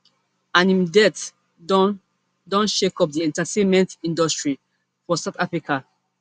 and im death don don shake up di entertainment industry for south africa